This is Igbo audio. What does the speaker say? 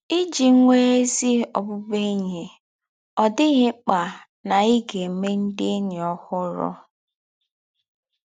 Ìjì nwè́ ézí ọ̀bụ̀bụ̀én̄yi, ọ̀ dị̄ghị̄ ḿkpà na í gà-èmè ndị̀ ényí òhúrù